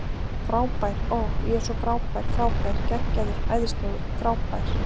Frábær, ohh, ég er svo frábær frábær, geggjaður, æðislegur, frábær.